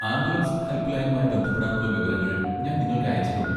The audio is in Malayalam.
ആംബുലൻസ് ഹെൽപ്പ് ലൈനുമായി ബന്ധപ്പെടാനുള്ള വിവരങ്ങൾ ഞാൻ നിങ്ങൾക്ക് അയച്ചിട്ടുണ്ട്.